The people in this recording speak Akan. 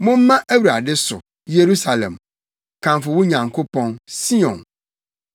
Momma Awurade so, Yerusalem; kamfo wo Nyankopɔn, Sion,